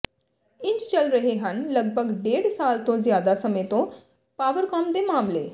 ਇੰਝ ਚੱਲ ਰਹੇ ਹਨ ਲਗਭਗ ਡੇਢ ਸਾਲ ਤੋਂ ਜ਼ਿਆਦਾ ਸਮੇਂ ਤੋਂ ਪਾਵਰਕਾਮ ਦੇ ਮਾਮਲੇ